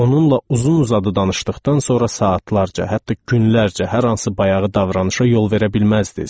Onunla uzun-uzadı danışdıqdan sonra saatlarca, hətta günlərcə hər hansı bayağı davranışa yol verə bilməzdiniz.